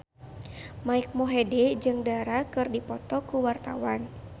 Mike Mohede jeung Dara keur dipoto ku wartawan